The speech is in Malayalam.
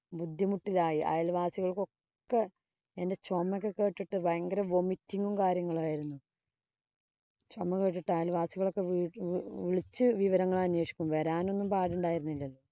ബുദ്ധിമുട്ടിലായി. അയല്‍വാസികള്‍ക്കൊക്കെ എന്‍റെ ചൊമയൊക്കെ കേട്ടിട്ട് ഭയങ്കര vomiting ഉം, കാര്യങ്ങളുമായിരുന്നു. ചൊമ കേട്ടിട്ട് അയല്‍വാസികള്‍ വിളിച്ച് വിവരങ്ങള്‍ അന്വേഷിക്കും. വരാനൊന്നും പടുണ്ടായിരുന്നില്ലല്ലോ.